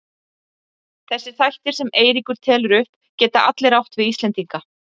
Þessir þættir sem Eiríkur telur upp geta allir átt við Íslendinga.